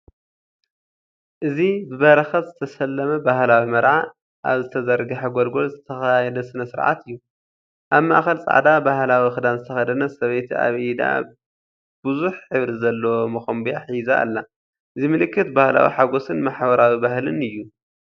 እዚ ብበረኸት ዝተሰለመ ባህላዊ መርዓ ኣብ ዝተዘርግሐ ጎልጎል ዝተኻየደ ስነ-ስርዓት እዩ። ኣብ ማእከል ጻዕዳ ባህላዊ ክዳን ዝተኸደነት ሰበይቲ ኣብ ኢዳ ብዙሕ ሕብሪ ዘለዎ ሞኮምብያ ሒዙ ኣላ። እዚ ምልክት ባህላዊ ሓጎስን ማሕበራዊ ባህልን እዩ።